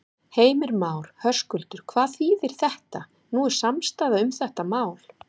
Heimir Már: Höskuldur, hvað þýðir þetta, nú er samstaða um þetta mál?